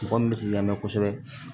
Mɔgɔ min bɛ si lamɛn kosɛbɛ